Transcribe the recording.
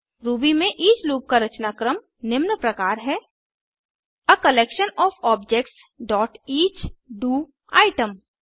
Ruby में each loop का रचनाक्रम निम्न प्रकार है आ collection OF objects dot each DO item